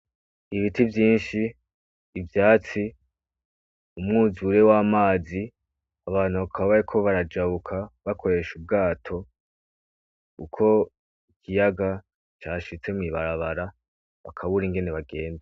Ibiti vyinshi ivyatsi umwuzure w' amazi abantu bakabayeko barajabuka bakoresha ubwato uko ikiyaga ca shitse mw'ibarabara bakabura ingene bagenze.